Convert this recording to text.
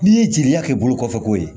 N'i ye jeliya kɛ bolo kɔfɛko ye